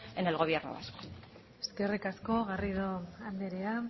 en el gobierno vasco eskerrik asko garrido anderea